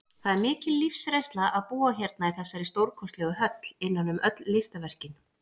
Það er mikil lífsreynsla að búa hérna í þessari stórkostlegu höll, innan um öll listaverkin.